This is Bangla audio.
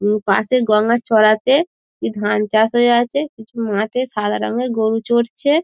উমম পাশে গঙ্গার চড়াতে কি ধান চাষ হয়ে আছে কিছু মাঠে সাদা রঙের গরু চরছে ।